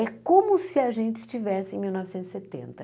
É como se a gente estivesse em mil novecentos e setenta.